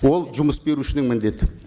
ол жұмыс берушінің міндеті